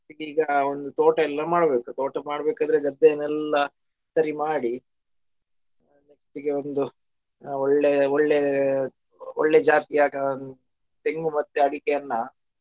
ಅದಕ್ಕೆ ಈಗ ಒಂದು ತೋಟ ಎಲ್ಲಾ ಮಾಡಬೇಕು ತೋಟ ಮಾಡ್ಬೇಕಾದ್ರೆ ಗದ್ದೆನೆಲ್ಲಾ ಸರಿ ಮಾಡಿ ಆ next ಗೆ ಒಂದು ಆ ಒಳ್ಳೆ ಒಳ್ಳೆ ಒಳ್ಳೆ ಜಾಸ್ತಿಯ ಆ ತೆಂಗು ಮತ್ತೆ ಅಡಿಕೆಯನ್ನ.